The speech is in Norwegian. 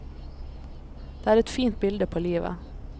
Det er et fint bilde på livet.